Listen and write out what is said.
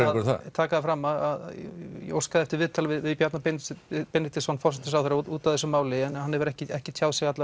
taka það fram að ég óskaði eftir viðtali við Bjarna Benediktsson Benediktsson forsætisráðherra út af þessu máli en hann hefur ekki ekki tjáð sig